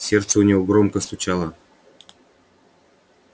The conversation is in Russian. сердце у него громко стучало